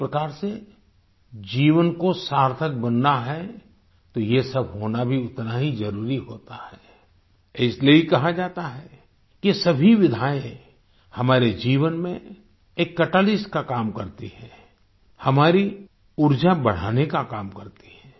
एक प्रकार से जीवन को सार्थक बनना है तो ये सब होना भी उतना ही जरुरी होता है इसलिए ही कहा जाता है कि ये सभी विधाएं हमारे जीवन में एक कैटलिस्ट का काम करती हैं हमारी ऊर्जा बढ़ाने का काम करती हैं